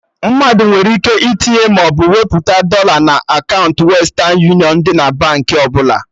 Mmadụ nwere ike itinye maọbụ wepụta dọla na kaụnta Western union dị na Baankị ọbụla